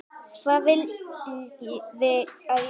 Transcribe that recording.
Hvað viljiði að ég segi?